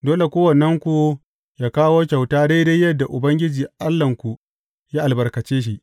Dole kowannenku yă kawo kyauta daidai yadda Ubangiji Allahnku ya albarkace shi.